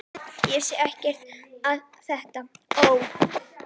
Ég vissi ekkert hvað þetta Ó!